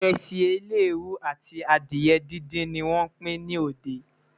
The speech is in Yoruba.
iresi eleruu àti adìe dindin ní wón Pin ní òde